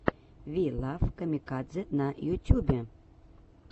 ви лав камикадзе на ютюбе